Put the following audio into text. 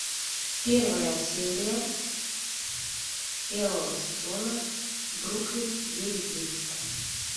первая серия первого сезона бруклин девять девять